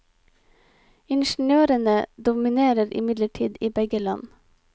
Ingeniørene dominerer imidlertid i begge land.